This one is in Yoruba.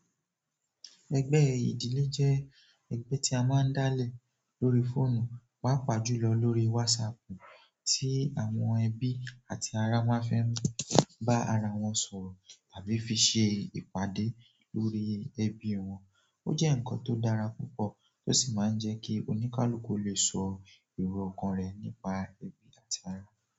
Ẹgbẹ ìdílé je ẹgbẹ ti a maan dale lórí fóònù, paapa julọ lórí WhatsApp, ti àwọn ebi àti ara won a fe ba ara won sọ̀rọ̀ àbí fi se ìpàdé lórí ẹbi wọn. Ó jẹ́ ǹkan tó dára púpọ̀ tó sì máa ń jẹ́ kí oníkálùkù o lè sọ ero ọkàn rẹ̀ nípa ẹbí àti ará.